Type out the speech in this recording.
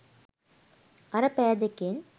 අර පැය දෙකෙන්